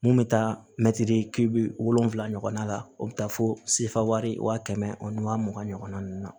Mun bɛ taa mɛtiri kilo wolofila ɲɔgɔnna la o bɛ taa fo sifari wa kɛmɛ ani wa mugan ɲɔgɔn na